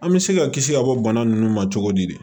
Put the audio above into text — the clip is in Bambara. An bɛ se ka kisi ka bɔ bana nunnu ma cogo di